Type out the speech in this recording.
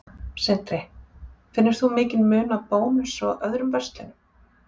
Sindri: Finnur þú mikinn mun á Bónus og öðrum verslunum?